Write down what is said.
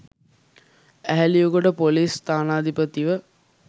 Eheliyagoda ‍police ස්ථානාධිපතිව